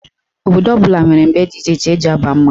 Obodo ọbụla nwere mgbe dị iche iche eji aba mmanwụ.